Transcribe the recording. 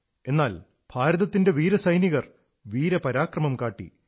എന്നാൽ ഭാരതത്തിന്റെ വീരസൈനികർ വീരപരാക്രമം കാട്ടി